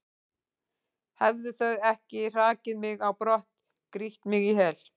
hefðu þau ekki hrakið mig á brott, grýtt mig í hel?